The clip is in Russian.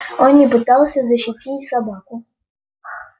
он не пытался защитить собаку